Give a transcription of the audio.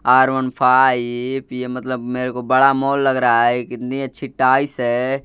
Are one five ये मतलब मेरे को बड़ा मॉल लग रहा है कितनी अच्छी टाइस है।